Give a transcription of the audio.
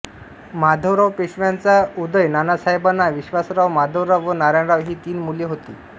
माधवराव पेशव्यांचा उदय नानासाहेबांना विश्वासराव माधवराव व नारायणराव ही तीन मुले होती